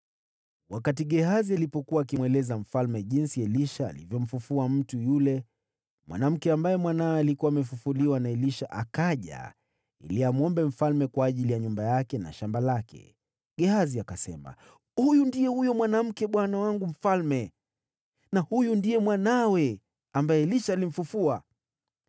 Wakati Gehazi alipokuwa akimweleza mfalme jinsi Elisha alivyomfufua mtu, yule mwanamke ambaye mwanawe alikuwa amefufuliwa na Elisha akaja ili amsihi mfalme kwa ajili ya nyumba yake na shamba lake. Gehazi akasema, “Huyu ndiye huyo mwanamke, bwana wangu mfalme, na huyu ndiye mwanawe ambaye Elisha alimfufua.”